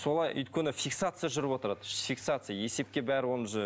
солай өйткені фиксация жүріп отырады фиксация есепке бәрі оны уже